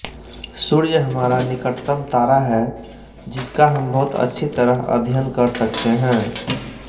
सूर्य हमारा निकटतम तारा है जिसका हम बहुत अच्छी तरह अध्ययन कर सकते हैं